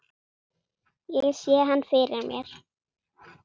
Ég sé hann fyrir mér.